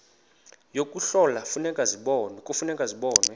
yokuhlola kufuneka zibonwe